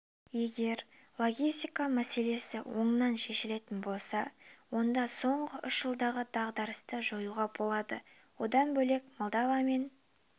егер логистика мәселесі оңынан шешілетін болса онда соңғы үш жылдағы дағдарысты жоюға болады одан бөлек молдовамен